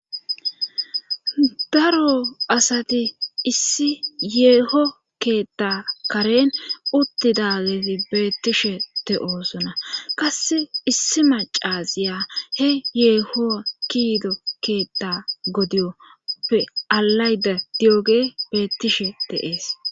Daro asati issi yeeho keetta karen uttidageti beettishe de7oosuna qass issi macaziya he yeeho kiido keetta godiyoppe alayda di7oge beettishe deees